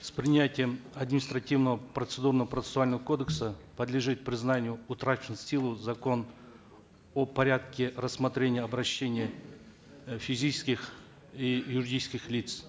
с принятием административного процедурно процессуального кодекса подлежит признанию силу закон о порядке рассмотрения обращений э физических и юридических лиц